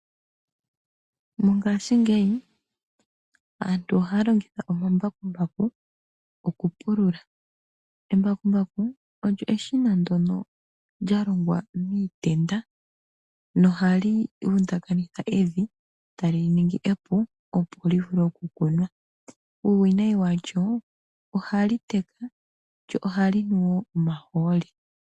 Mongaashingeyi aantu ohaya longitha omambakumbaku okupulula. Embakumbaku olyo eshina ndyono lya longwa miitenda nohali vundakanitha evi tali li ningi epu, opo mu vule okukunwa. Uuwinawinayi walyo ohali teka lyo ohali nu wo omahooli.